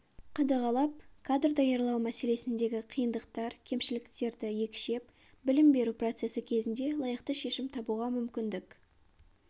қадағалап кадр даярлау мәселесіндегі қиындықтар кемшіліктерді екшеп білім беру процесі кезінде лайықты шешім табуға мүмкіндік